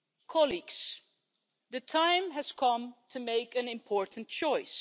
Colleagues, the time has come to make an important choice.